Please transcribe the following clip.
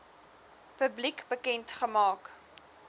publiek bekend gemaak